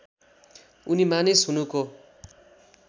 उनी मानिस हुनुको